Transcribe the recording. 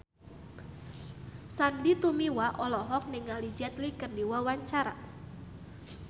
Sandy Tumiwa olohok ningali Jet Li keur diwawancara